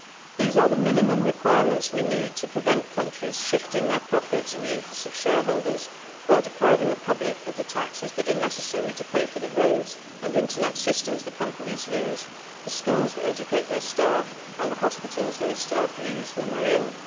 These are the minimum requirements we need to prevent countries shifting their profits in the interests of shareholders while depriving the public of the taxes that are necessary to pay for the roads and internet systems the companies use, the schools that educate their staff and the hospitals those staff use when they are ill.